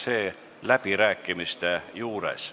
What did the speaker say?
Avan läbirääkimised.